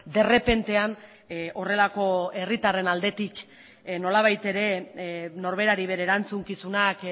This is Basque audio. derrepentean horrelako herritarren aldetik nolabait ere norberari bere erantzukizunak